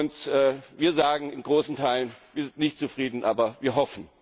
Und wir sagen in großen Teilen Wir sind nicht zufrieden, aber wir hoffen!